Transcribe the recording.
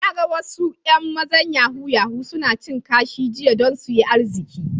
Na gan wasu yan mazan yahoo-yahoo suna cin kashi jiya dan su yi arziki.